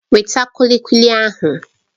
Weta kulikuli ahụ!